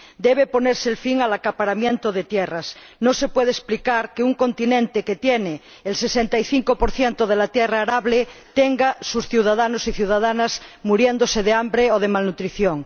Debe ponerse fin al acaparamiento de tierras. No se puede explicar que un continente que tiene el 65 de la tierra arable tenga a sus ciudadanos y ciudadanas muriéndose de hambre o de malnutrición.